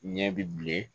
Ɲɛ bilen